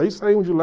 Aí saímos de lá...